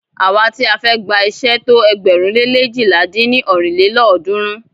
Àwa ti a fẹ́ gba iṣé tó ẹgbẹ̀rún le leéjìlá dín ní ọ́rin lélọ́ọ̀dúnrún.